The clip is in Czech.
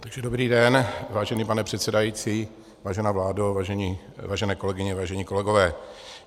Dobrý den, vážený pane předsedající, vážená vládo, vážené kolegyně, vážení kolegové.